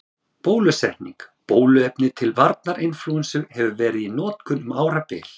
Bólusetning Bóluefni til varnar inflúensu hefur verið í notkun um árabil.